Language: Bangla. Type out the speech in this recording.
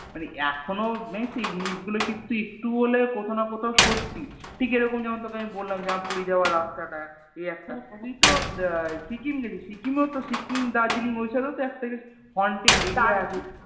মানে এখনও জানিস তো এই জিনিস গুলো কিন্তু একটু হলেও কোথাও না কোথাও সত্যি ঠিক এরকম যেমন তোকে আমি বললাম যে আমার পুরী যাওয়ার রাস্তা টা এই একটা তুই তো আহ সিকিম গিয়েছিস সিকিমেত সিকিম দার্জেলিং ওই সবেও ও তো একটা কিছু Haunted area আছে